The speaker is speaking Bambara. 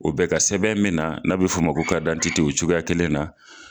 O bɛ ka sɛbɛn min na n'a be f'o ma ko o cogoya kelen na.